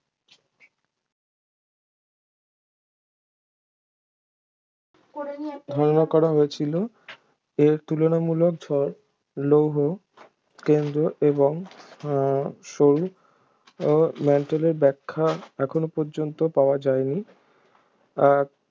ধারণা করা হয়েছিল এর তুলনামূলক ঝড় লৌহ কেন্দ্র এবং সরু ও ম্যান্ট্‌লের ব্যাখ্যা এখন পর্যন্ত পাওয়া যায়নি